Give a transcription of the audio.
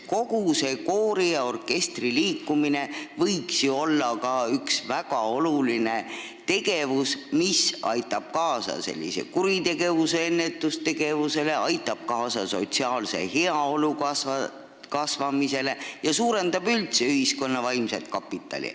Kogu see koori- ja orkestriliikumine võiks ju olla üks väga olulisi tegevusi, mis aitab kaasa kuritegevuse ennetusele ja sotsiaalse heaolu kasvamisele ning suurendab üldse ühiskonna vaimset kapitali.